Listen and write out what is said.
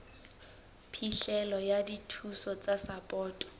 phihlelo ya dithuso tsa sapoto